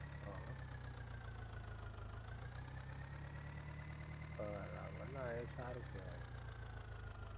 હ હ બરાબર ના એ સારું કેવાય